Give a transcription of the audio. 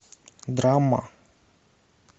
драма